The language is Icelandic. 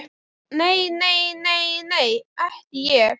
Nei, nei, nei, nei, ekki ég.